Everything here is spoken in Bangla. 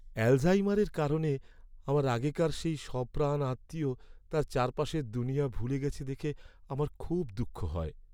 অ্যালঝাইমারের কারণে আমার আগেকার সেই সপ্রাণ আত্মীয় তার চারপাশের দুনিয়া ভুলে গেছে দেখে আমার খুব দুঃখ হয়।